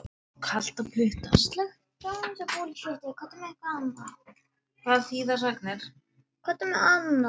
Hvað þýða sagnir?